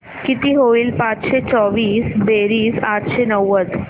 किती होईल पाचशे चोवीस बेरीज आठशे नव्वद